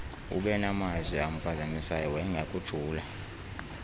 ubenamazwi amphazamisayo wayengakujula